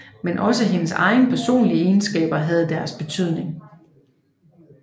Men også hendes egne personlige egenskaber havde deres betydning